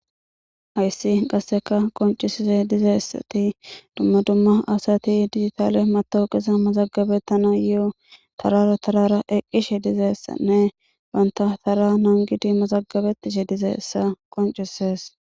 hayssi qasseka qoncisise dizeessati dumma dumma asati digitaale matowuqisa mazagabetana yo7o tarara tarara eqqishe dizeessanne banta tara nangidi mazagabetishe dizessa qoncises